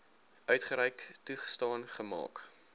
uitgereik toegestaan gemaak